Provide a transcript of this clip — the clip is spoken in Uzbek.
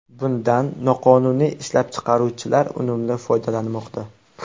Bundan noqonuniy ishlab chiqaruvchilar unumli foydalanmoqda.